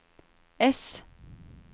ess